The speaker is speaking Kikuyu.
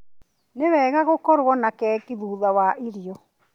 Nĩ wega gũkorwo na keki thutha wa irio.